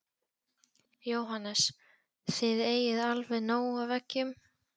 Jóhannes: Þið eigið alveg nóg af eggjum?